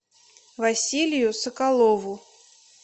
василию соколову